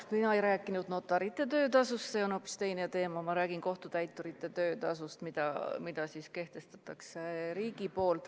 Mina ei rääkinud notarite töötasust, see on hoopis teine teema, ma räägin kohtutäiturite töötasust, mille kehtestab riik.